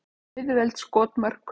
Auðveld skotmörk.